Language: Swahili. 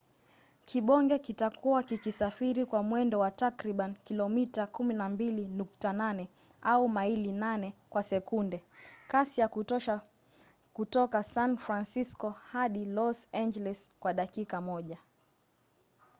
kibonge kitakuwa kikisafiri kwa mwendo wa takriban kilomita 12.8 au maili 8 kwa sekunde kasi ya kutosha kutoka san francisco hadi los angeles kwa dakika moja